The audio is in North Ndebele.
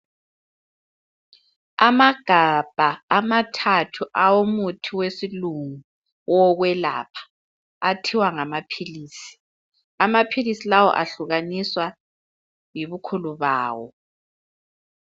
Amagabha amathathu awomuthi wesilungu owokwelapha, athiwa ngamaphilisi. Amaphilisi lawa ahlukaniswa yibukhulu bawo.